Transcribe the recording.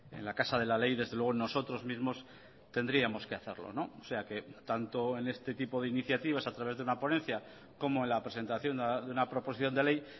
en la casa de la ley desde luego nosotros mismos tendríamos que hacerlo o sea que tanto en este tipo de iniciativas a través de una ponencia como en la presentación de una proposición de ley